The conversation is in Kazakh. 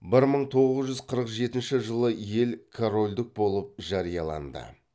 бір мың тоғыз жүз қырық жетінші жылы ел корольдік болып жарияланды